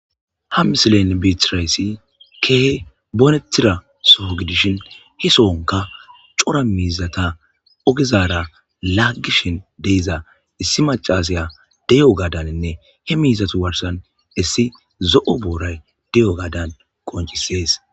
Ha misilen beeththirayssi keehi boneththira soho gidishin he sohonkka cora miizzatha ogezaara laaggishin de7iza issi maccaasiya de7iyogadaninne he miizzathu garssan issi zo7o booray de7iyogadan qonccissees.